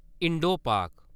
इंडो-पाक